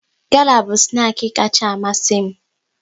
Gala bụ snaki kacha amasi m